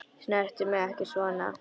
Snertu mig ekki svona.